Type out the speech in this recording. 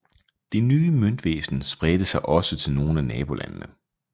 Det nye møntvæsen spredte sig også til nogle af nabolandene